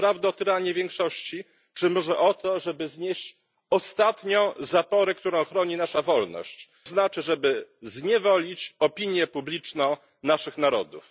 Czy naprawdę o tyranię większości czy może o to, żeby znieść ostatnią zaporę, która ochroni naszą wolność, czyli o to, żeby zniewolić opinię publiczną naszych narodów?